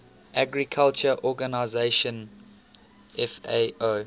agriculture organization fao